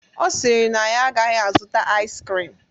Ọ sịrị na ya agaghị azụta ais krim